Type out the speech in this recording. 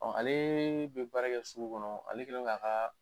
Ɔ ale bɛ baara kɛ sugu kɔnɔ ale kɛlen don k'a ka